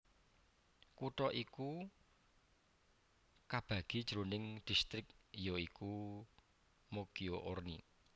Kutha iki kabagi jroning distrik ya iku Moggio Orni